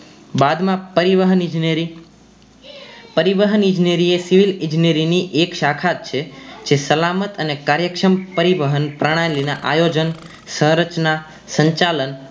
બાદ માં પરિવહન ઈજનેરી પરિવહન ઈજનેરી એ civil ઈજનેરી એક શાખા જ છે જે સલામત અને કાર્યક્ષમ પરિવહન પ્રણાલી ના આયોજન સહરચના સંચાલન